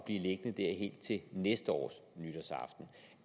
blive liggende der helt til næste års nytårsaften